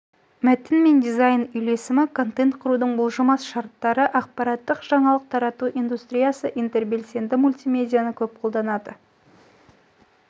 мәтін мен дизайн үйлесімі контент құрудың бұлжымат шарттары ақпараттық жаңалық тарату индустриясы интербелсенді мультимедианы көп қолданады